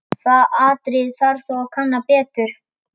Það atriði þarf þó að kanna betur.